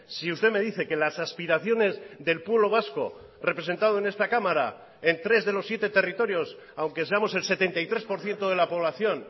si usted me dice que las aspiraciones del pueblo vasco representado en esta cámara en tres de los siete territorios aunque seamos el setenta y tres por ciento de la población